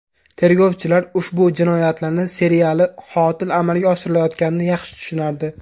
Tergovchilar ushbu jinoyatlarni seriyali qotil amalga oshirayotganini yaxshi tushunardi.